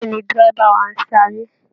Bẹ́ẹ̀ ni, dẹ́rẹ́bà wa ń sáré